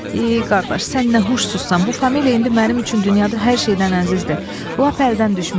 Ey qardaş, sən nə huşsuzsan, bu familiya indi mənim üçün dünyada hər şeydən əzizdir, lap əldən düşmüşəm.